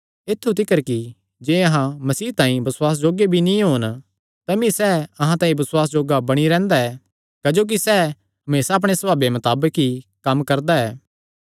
ऐत्थु तिकर कि जे अहां मसीह तांई बसुआसे जोग्गे नीं भी होन तमी सैह़ अहां तांई बसुआसे जोग्गा बणी रैंह्दा ऐ क्जोकि सैह़ हमेसा अपणे सभावे मताबक ई कम्म करदा ऐ